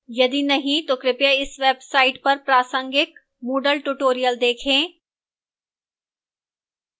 यदि नहीं तो कृपया इस website पर प्रासंगिक moodle tutorials देखें